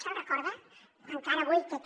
se’n recorda encara avui té aquest